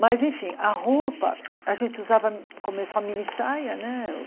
Mas enfim, a roupa, a gente usava, começou a mini saia, né?